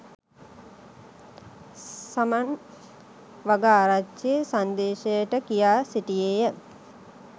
සමන් වගආරච්චි සංදේශයට කියා සිටියේය